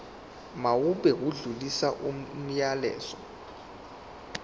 mawube odlulisa umyalezo